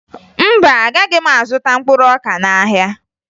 Mba, agaghị m azụta mkpụrụ ọka n'ahịa